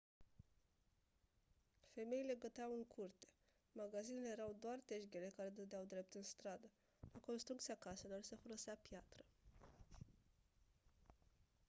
femeile găteau în curte magazinele erau doar tejghele care dădeau drept în stradă la construcția caselor se folosea piatră